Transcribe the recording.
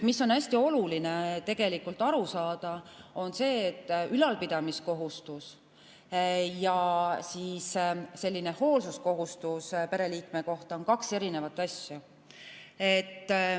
Hästi oluline on aru saada, et ülalpidamiskohustus ja hoolsuskohustus pereliikme suhtes on kaks eri asja.